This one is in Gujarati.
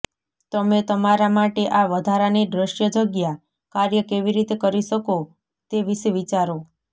તમે તમારા માટે આ વધારાની દૃશ્ય જગ્યા કાર્ય કેવી રીતે કરી શકો તે વિશે વિચારો